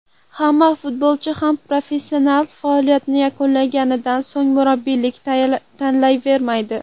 Hamma futbolchi ham professional faoliyatini yakunlaganidan so‘ng, murabbiylikni tanlayvermaydi.